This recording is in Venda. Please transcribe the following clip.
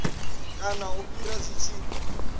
kana u fhira zwi tshi